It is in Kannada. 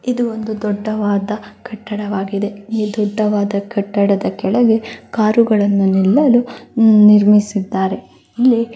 ಇದು ಒಂದು ದೊಡ್ಡವಾದ ಕಟ್ಟವಾಗಿದೆ ಈ ದೊಡ್ಡವಾದ ಕಟ್ಟಡದ ಕೆಳಗೆ ಕಾರು ಗಳನ್ನು ನಿಲ್ಲಲು ನಿರ್ಮಿಸಿದ್ದಾರೆ. ಇಲ್ಲಿ--